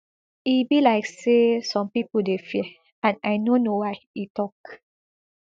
e be like say some pipo dey fear and i no know why e tok